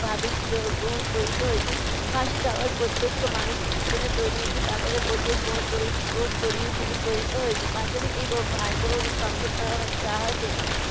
ভাবে যো গ্রহণ করিতে হইবে। ফাঁসি দেওয়ার প্রত্যক্ষ মানুষের জীবনের দৈনন্দিন ব্যাপার বলিয়াই য গ~ গ্রহন করি~ করিতে হইবো। পাঞ্জাবের এই ভায়বহ সংবাদ আহ যাহাতে